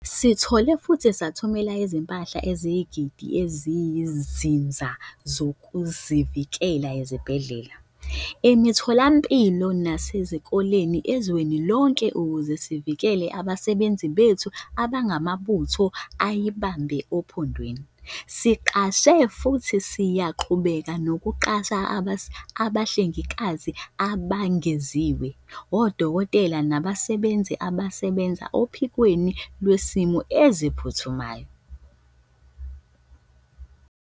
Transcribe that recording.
Sithole futhi sathumela izimpahla eziyizigidi eziyizinsiza zokuzivikela ezibhedlela, emitholampilo nasezikoleni ezweni lonke ukuze sivikele abasebenzi bethu abangamabutho ayibambe ophondweni. Siqashe futhi siyaqhubeka nokuqasha abahlengikazi abengeziwe, odokotela nabasebenzi abasebenza ophikweni lwezimo eziphuthumayo.